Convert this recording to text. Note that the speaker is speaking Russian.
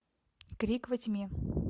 крик во тьме